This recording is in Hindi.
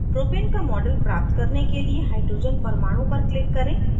propane का model प्राप्त करने के लिए hydrogen परमाणु पर click करें